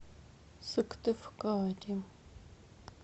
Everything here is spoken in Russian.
сыктывкаре